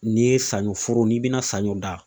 N'i ye saɲɔ foro ,n'i be na saɲɔ dan